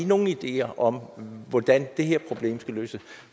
nogen ideer om hvordan det her problem skal løses